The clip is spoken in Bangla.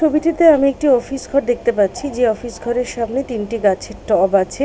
ছবিটিতে আমি একটি অফিস ঘর দেখতে পাচ্ছি যে অফিস ঘরের সামনে তিনটি গাছের টব আছে।